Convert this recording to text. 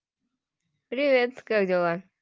привет как дела